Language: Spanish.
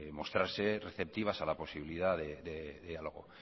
mostrarse receptivas a la posibilidad de algo